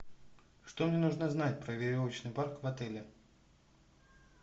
что мне нужно знать про веревочный парк в отеле